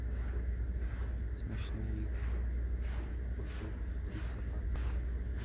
смешные коты и собаки